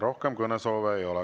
Rohkem kõnesoove ei ole.